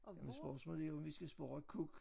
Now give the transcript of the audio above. Jamen spørgsmålet er om vi skal spørge kuk